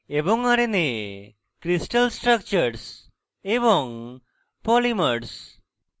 crystal structures এবং polymers